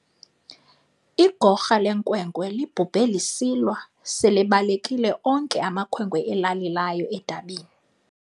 Igorha lenkwenkwe libhubhe lisilwa selebalekile onke amakhwenkwe elali layo edabini.